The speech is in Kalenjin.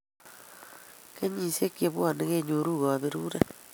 Kenyishiek chebwone kenyoru kaberuret